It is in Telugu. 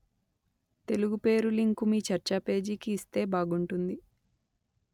తెలుగు పేరు లింకు మీ చర్చా పేజీకి ఇస్తే బాగుంటుంది